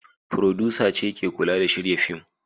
Furodusa ce ke kula da shirya fim.